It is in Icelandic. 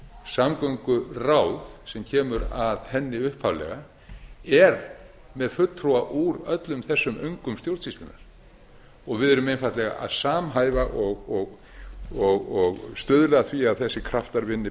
samgönguráð sem kemur að henni upphaflega er með fulltrúa úr öllum þessum öngum stjórnsýslunnar við erum einfaldlega að samhæfa og stuðla að því að þessir kraftar vinni betur saman ég